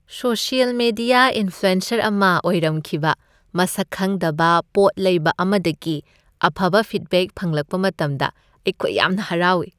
Social media influencer ꯑꯃ ꯑꯣꯏꯔꯝꯈꯤꯕ ꯃꯁꯛ ꯈꯪꯗꯕ ꯄꯣꯠꯂꯩꯕ ꯑꯃꯗꯒꯤ ꯑꯐꯕ ꯐꯤꯗꯕꯦꯛ ꯐꯪꯂꯛꯄ ꯃꯇꯝꯗ ꯑꯩꯈꯣꯏ ꯌꯥꯝꯅ ꯍꯔꯥꯎꯏ ꯫